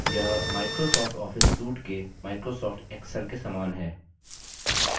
यह microsoft office suite के microsoft excel के समान है